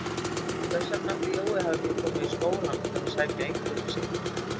Hvers vegna ætli Jói hafi ekki komið í skólann að sækja einkunnirnar sínar?